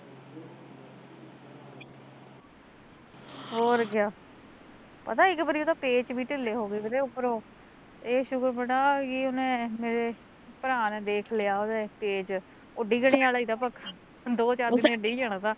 ਹੋਰ ਕਿਆ ਪਤਾ ਇੱਕ ਵਾਰ ਉਹਦੇ ਪੇਚ ਵੀ ਢਿੱਲੇ ਹੋਗੇ ਵੇ ਤੇ ਉੱਪਰੋਂ ਏਹ ਸੁਕਰ ਮਨਾ ਕਿ ਉਹਨੇ ਮੇਰੇ, ਭਰ ਨੇ ਮੇਰੇ ਦੇਖ ਲਿਆ ਉਹਦੇ ਪੇਜ਼, ਡਿਗਣੇ ਆਲਾ ਤਾ ਪੱਖਾ, ਦੋ ਚਾਰ ਦਿਨ ਚ ਡਿੱਗ ਜਾਣਾ ਤਾ